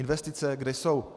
Investice, kde jsou?